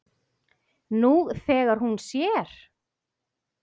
Nú þegar hún sér.